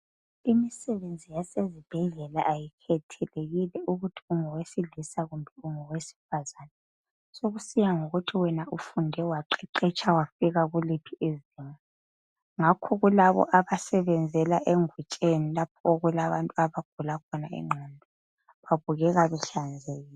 Imsebenzi yasezibhedlela ayikhethelekile ukuthi ungowesilisa kumbe ungowesifazana sokusiya ngokuthi wena ufunde waqeqetsha wafika kuliphi izinga. Ngakho kulabo abasebenzela engutsheni lapho okulabantu abagula khona ingqondo babukeka behlanzekile